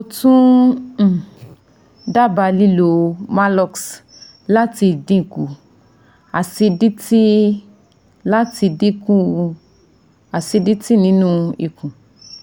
Mo tun um daba lilo Maalox lati dinku acidity lati dinku acidity ninu ikun